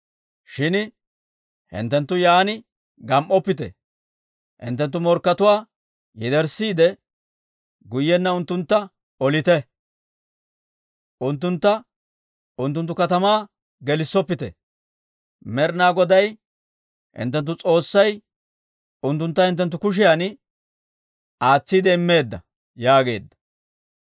Shin hinttenttu yaan gam"oppite; hinttenttu morkkatuwaa yederssiide, guyyenna unttuntta olite, unttuntta unttunttu katamaa gelissoppite. Med'ina Goday hinttenttu S'oossay unttuntta hinttenttu kushiyan aatsiide immeedda» yaageedda.